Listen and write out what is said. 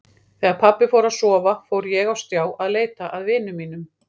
Þegar pabbi fór að sofa fór ég á stjá að leita að vinum mínum.